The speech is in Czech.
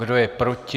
Kdo je proti?